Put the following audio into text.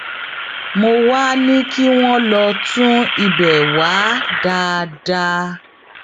mo wàá ní kí wọn lọọ tún ibẹ wá dáadáa